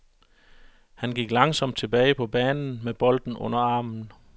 Han gik langsomt tilbage på banen med bolden under armen.